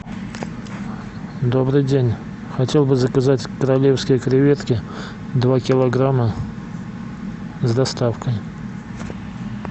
добрый день хотел бы заказать королевские креветки два килограмма с доставкой